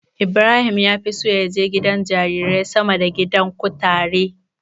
Ibrahim ya fi so ya je gidan jarirai sama da gidan kutare.